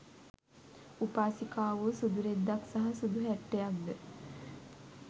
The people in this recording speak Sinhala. උපාසිකාවෝ සුදු රෙද්දක් සහ සුදු හැට්ටයක්ද